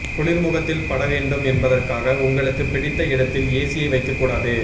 குளிர் முகத்தில் படவேண்டும் என்பதற்காக உங்களுக்குப் பிடித்த இடத்தில் ஏசியை வைக்கக்கூடாது